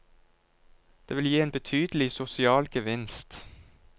Det vil gi en betydelig sosial gevinst.